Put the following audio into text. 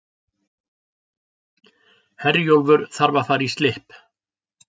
Herjólfur þarf að fara í slipp